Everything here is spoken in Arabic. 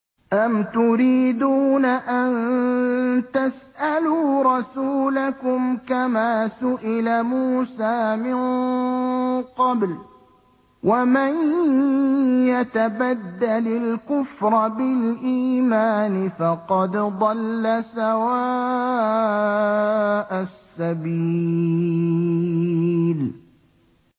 أَمْ تُرِيدُونَ أَن تَسْأَلُوا رَسُولَكُمْ كَمَا سُئِلَ مُوسَىٰ مِن قَبْلُ ۗ وَمَن يَتَبَدَّلِ الْكُفْرَ بِالْإِيمَانِ فَقَدْ ضَلَّ سَوَاءَ السَّبِيلِ